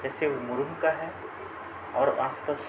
किसी का है और आस पास --